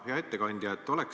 Hea ettekandja!